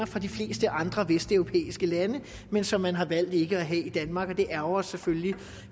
fra de fleste andre vesteuropæiske lande men som man har valgt ikke at have i danmark det ærgrer os selvfølgelig